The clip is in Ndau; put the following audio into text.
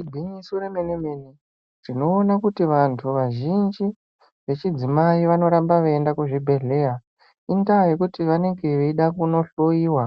Igwinyiso remene-mene tinoona kuti vantu vazhinji vechidzimai vanoramba veiende kuchibhedhleya. Indaa yekuti vanonge vachida kunohloiva